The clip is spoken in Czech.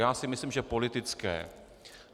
Já si myslím, že politické.